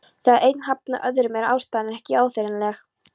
Þegar einn hafnar öðrum er ástæðan ekki áþreifanleg.